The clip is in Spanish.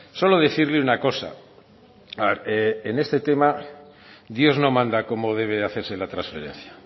solo decirle una cosa en este tema dios no manda cómo debe hacerse la transferencia